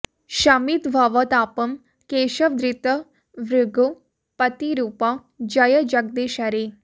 शमित भव तापम् केशव धृत भृघु पति रूप जय जगदीश हरे